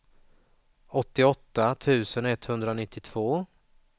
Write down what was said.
åttioåtta tusen etthundranittiotvå